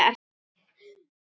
Ég hringi í pabba.